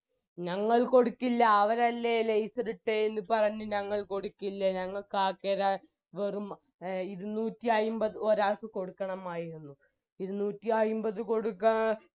ഞങ്ങൾ കൊടുക്കില്ല അവരല്ലേ laser ഇട്ടേന്ന് പറഞ്ഞ് ഞങ്ങൾ കൊടുക്കില്ല ഞങ്ങൾക്കാകെ ര വെറും ഇരുന്നൂറ്റിയയിമ്പത് ഒരാൾക്ക് കൊടുക്കണമായിരുന്നു ഇരുന്നൂറ്റിയയിമ്പത് കൊടുക്കാ